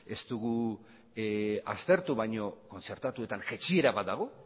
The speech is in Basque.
ez dugu aztertubaina kontzertatuetan jaitsiera bat dago